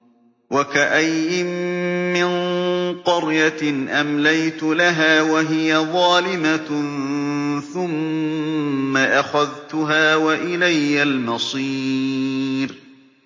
وَكَأَيِّن مِّن قَرْيَةٍ أَمْلَيْتُ لَهَا وَهِيَ ظَالِمَةٌ ثُمَّ أَخَذْتُهَا وَإِلَيَّ الْمَصِيرُ